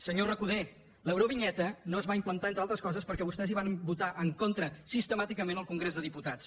senyor recoder l’eurovinyeta no es va implantar entre altres coses perquè vostès hi van votar en contra sistemàticament al congrés dels diputats